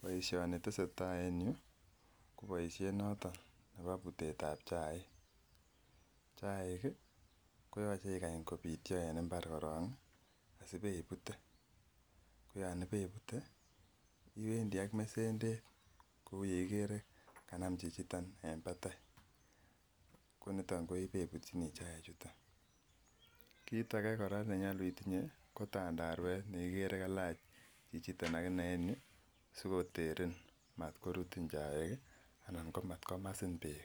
Boisioni tesetai en yu ko boisiet noton nepo putet ap chaik, chaik koyoei ikany kopityo en imbar korok sipeiput koyo peiputr, iwendi ak mesendet kouye ikere kanam chichiton en patai koniton neiputchini chai chuton, kiit ake kora nenyalu itinye ko tandaruet nekikere kailach chichiton akone en yu sikoteren matkorut chaik anan ko matkomasin peek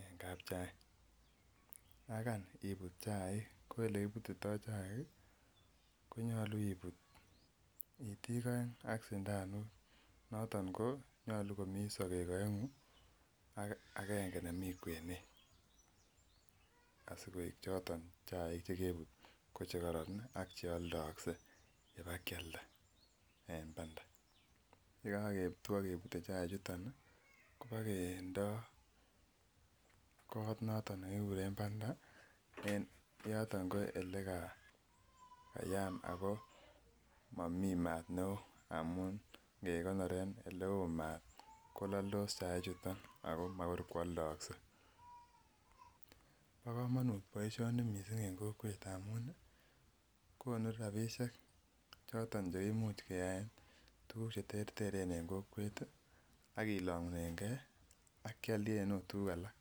eng kaap chai yankaiput chaik ko olekiputitoi chaik konyolu iput itik oeng ak sindanot noton konyolu komi sokeek oengu ak agenge nemi kwenet asikoek choton chaik chekororon ak cheoldoosket ipakialda en panda yekaketwo kepute chai chuton kopakendoi kot noton nekikuren panda en yoto ko olekayam Ako mamii maat neo amun ngekonore oleo maat kololdos chai chuton ako makoi koaldaisket.po komonut poishoni mising en kokwet amun konu ropisiek choton cheimuch keaen tukuuk cheterteren en kokwet akilongunenke akealen akot tukuuk alak.